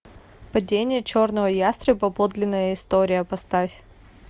падение черного ястреба подлинная история поставь